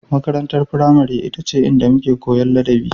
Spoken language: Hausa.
Makarantar firamare ita ce inda muke Koyan adabi